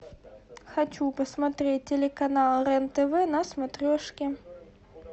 хочу посмотреть телеканал рен тв на смотрешке